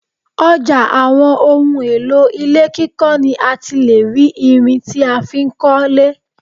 Ọjà àwọn ohùn èlò ilé kíkọ ni àti lè rí ìrìn tí a fi ń kọ lé